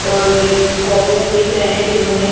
और एक कॉपी में लिख रहे है जिन्होंने --